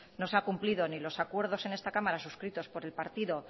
no se ha cumplido ni los acuerdos en esta cámara suscritos por el partido